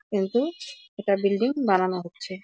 কিন্তু একটা বিল্ডিং বানানো হচ্ছে ।